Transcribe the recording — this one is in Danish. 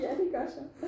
Ja de gør så